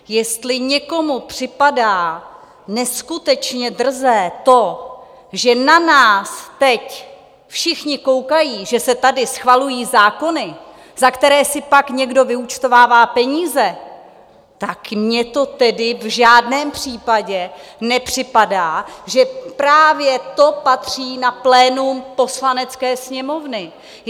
Jestli někomu připadá neskutečně drzé to, že na nás teď všichni koukají, že se tady schvalují zákony, za které si pak někdo vyúčtovává peníze, tak mně to tedy v žádném případě nepřipadá, že právě to nepatří na plénum Poslanecké sněmovny.